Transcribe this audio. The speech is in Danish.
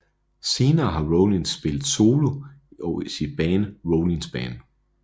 Senere har Rollins spillet solo og i sit band Rollins Band